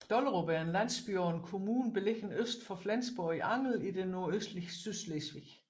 Dollerup er en landsby og kommune beliggende øst for Flensborg i Angel i det nordøstlige Sydslesvig